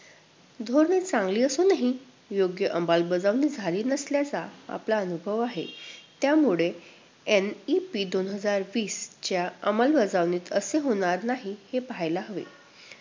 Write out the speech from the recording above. धोरणं चांगली असूनही योग्य अंमलबजावणी झाली नसल्याचा आपला अनुभव आहे. त्यामुळे NEP दोन हजार वीसच्या अंमलबजावणीत असे होणार नाही हे पाहायला हवे.